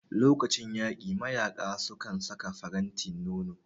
Lokacin yaƙi mayaƙa sukan saka faranti nono